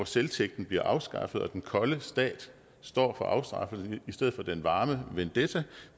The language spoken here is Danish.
selvtægten bliver afskaffet og den kolde stat står for afstraffelse i stedet for den varme vendetta